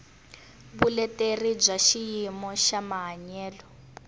vuleteri bya xiyimo xa mahanyelo